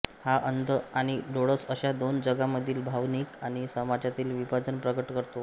हा अंध आणि डोळस अश्या दोन जगामधील भावनिक आणि समजातील विभाजन प्रकट करतो